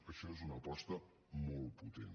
això és una aposta molt potent